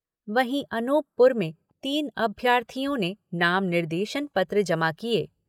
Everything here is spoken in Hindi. वहीं अनूपपुर में तीन अभ्यर्थीयों ने नाम निर्देशन पत्र जमा किये।